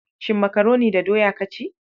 Shin makaroni da doya ka ci?